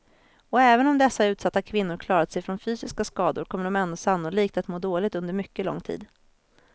Och även om dessa utsatta kvinnor klarat sig från fysiska skador kommer de ändå sannolikt att må dåligt under mycket lång tid.